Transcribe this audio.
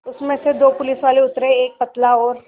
उसमें से दो पुलिसवाले उतरे एक पतला और